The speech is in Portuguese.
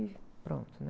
E pronto, né?